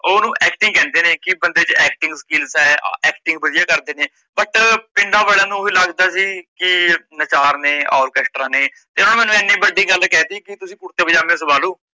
ਓਹ ਓਨੁ acting ਕਹਿੰਦੇ ਨੇ ਕੀ ਬੰਦੇ ਚ acting skills ਏ acting ਵਧੀਆ ਕਰਦੇ ਨੇ but ਪਿੰਡਾਂ ਵਾਲਿਆ ਨੂੰ ਓਹੀ ਲੱਗਦਾ ਸੀ ਕੀ ਨੱਚਾਰ ਨੇ ਓਰਕੇਸਟਰਾਂ ਨੇ ਤੇ ਓਨਾ ਨੇ ਮੈਂਨੂੰ ਏਡੀ ਵੱਡੀ ਗੱਲ ਕਹਿ ਤੀ ਕੀ ਤੁਸੀਂ ਕੁਰਤੇ ਪਜਾਮੇ ਸਵਾ ਲੋ